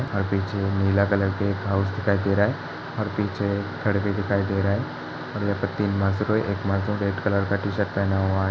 और पीछे नीला कलर का एक हाउस दिखाई दे रहा है और पीछे घर भी दिखाई दे रहा है और यहाँ पर तीन मजदूर है एक मजदूर रेड कलर की टी-शर्ट पहना हुआ है।